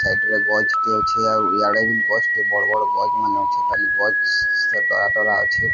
Side ରେ ଗଛ ଟେ ଅଛେ ଆଉ ଇଆଡ଼େ ବି ଗଛ ଟେ ବଡ଼ ବଡ଼ ଗଛ ମାନେ ଅଛେ ଅଛି।